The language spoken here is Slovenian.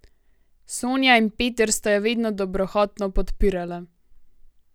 Sonja in Peter sta jo vedno dobrohotno podpirala.